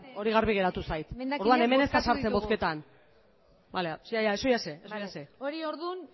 hori garbi geratu zait emendakinak bozkatu ditugu orduan hemen ez da sartzen bozketan ya ya eso ya sé hori ordun